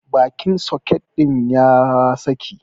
Bakin soket din ya saƙi.